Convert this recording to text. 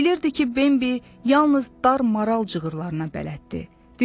Bilirdi ki, Bimbi yalnız dar maral cığırlarına bələddir.